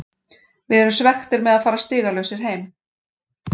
Við erum svekktir með að fara stigalausir heim.